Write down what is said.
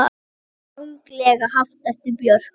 Ranglega haft eftir Björk